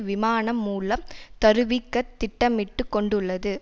விமானம் மூலம் தருவிக்கத் திட்டமிட்டு கொண்டுள்ளது